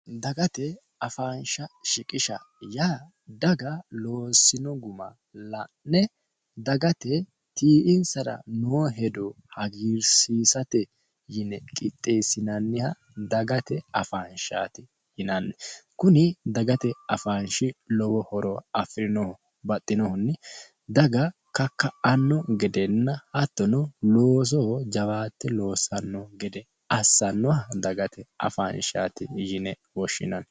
dagate afaansha shiqisha yaa daga loosino guma la'ne dagate tii"insara noo hedo hagiirsiisate yine qixxeessinanniha dagate afaanshaati yinanni kuni dagate afaanshi lowo horo afirinohu baxxinohunni daga kakka'anno gedenna hattono loosoho jawaatte loossanno gede assannoha dagate afaanshaati yine woshshinanno